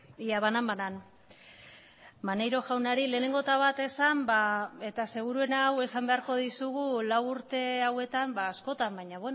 ia banan banan maneiro jaunari lehenengo eta bat esan ba eta seguruena hau esan beharko dizugu lau urte hauetan askotan baina